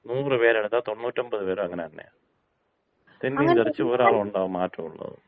നൂറ് പേരെടുത്താ തോണ്ണൂറ്റൊൻപത് പേരും അങ്ങനെതന്നെയാ. തെന്നിയും തെറിച്ചും ഒരാളുണ്ടാകും മാറ്റമുള്ളത്.